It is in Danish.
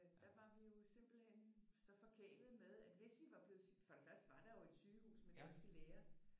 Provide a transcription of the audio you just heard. Der var vi jo simpelthen så forkælet med at hvis vi var blevet for det første var der jo et sygehus med danske læger